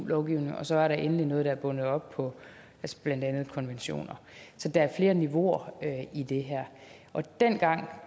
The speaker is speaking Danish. lovgivning og så var der endelig noget der var bundet op på blandt andet konventioner så der er flere niveauer i det her dengang